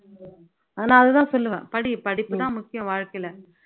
அதனால தான் சொல்லுவேன் படி படிப்பு தான் முக்கியம் வாழ்க்கையில